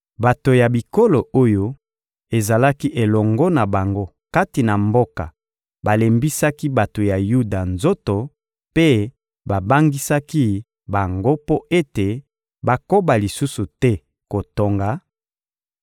Bato ya bikolo oyo ezalaki elongo na bango kati na mboka balembisaki bato ya Yuda nzoto mpe babangisaki bango mpo ete bakoba lisusu te kotonga;